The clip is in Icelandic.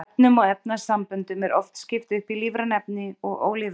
Efnum og efnasamböndum er oft skipt upp í lífræn efni og ólífræn.